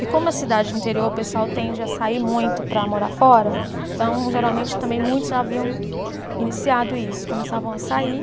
E como é cidade de interior, o pessoal tende a sair muito para morar fora, então, geralmente, também muitos já haviam iniciado isso, começavam a sair.